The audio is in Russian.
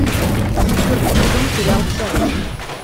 четвертый сезон сериал шерлок